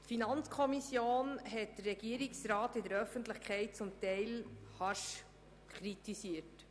Die FiKo hat die Finanzdirektion in der Öffentlichkeit teilweise harsch kritisiert.